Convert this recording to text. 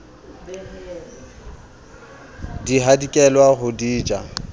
di hadikela ho di ja